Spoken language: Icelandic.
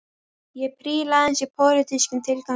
Ég príla aðeins í pólitískum tilgangi